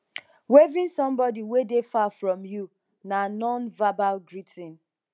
waving somebody wey dey far from you na nonverbal greeting